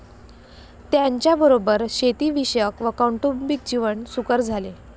त्यांच्याबरोबर शेती विषयक व कौटुंबिक जीवन सुकर झाले